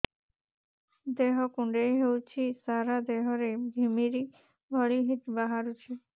ଦେହ କୁଣ୍ଡେଇ ହେଉଛି ସାରା ଦେହ ରେ ଘିମିରି ଭଳି ବାହାରୁଛି